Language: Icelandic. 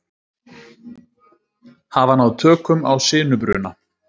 Hafa náð tökum á sinubruna